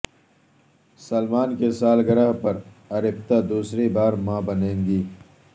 سلمان کی سالگرہ پر ارپتا دوسری بار ماں بنیں گی